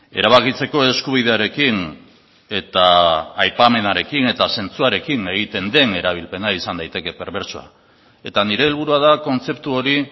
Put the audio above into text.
erabakitzeko eskubidearekin eta aipamenarekin eta zentzuarekin egiten den erabilpena izan daiteke perbertsoa eta nire helburua da kontzeptu hori